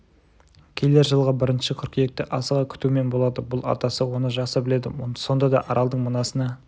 келер жылғы бірінші қыркүйекті асыға күтумен болады бұл атасы оны жақсы біледі сонда да аралдың мынасына